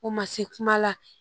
O ma se kuma la